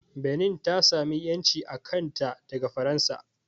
Benin ta sami ƴanci a kanta daga Faransa